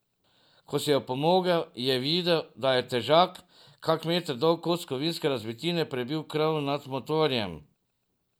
Ko si je opomogel, je videl, da je težak, kak meter dolg kos kovinske razbitine prebil krov nad motorjem.